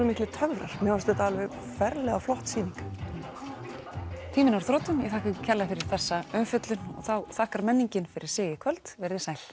miklir töfrar mér fannst þetta alveg ferlega flott sýning tíminn er á þrotum ég þakka ykkur kærlega fyrir þessa umfjöllun þá þakkar menningin fyrir sig í kvöld verið þið sæl